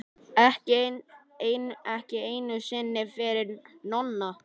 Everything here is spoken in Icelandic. Ekki einu sinni fyrir Nonna.